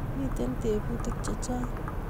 Mito tebutik chechang